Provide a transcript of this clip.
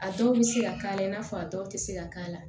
A dɔw bɛ se ka k'a la i n'a fɔ a dɔw tɛ se ka k'a la